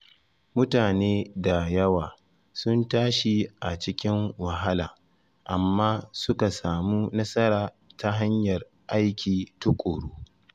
Mutane da yawa sun tashi a cikin wahala amma suka samu nasara ta hanyar aiki tuƙuru.